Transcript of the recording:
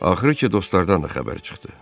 Axırı ki, dostlardan da xəbər çıxdı.